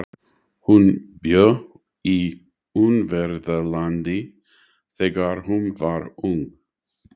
Hún bjó í Ungverjalandi þegar hún var ung.